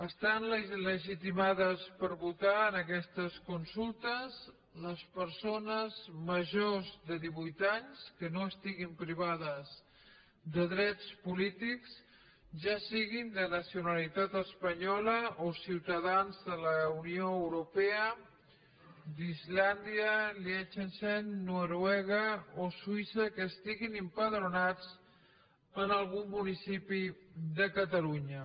estan legitimades per votar en aquestes consultes les persones majors de divuit anys que no estigui privades de drets polítics ja siguin de nacionalitat espanyola o ciutadans de la unió europea d’islàndia liechtenstein noruega o suïssa que estiguin empadronades en algun municipi de catalunya